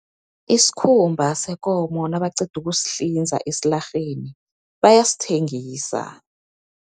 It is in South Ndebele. Isikhumba sekomo nabaqeda ukusihlinza esilarheni, bayasithengisa.